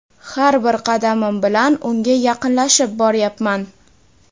Har bir qadamim bilan unga yaqinlashib boryapman.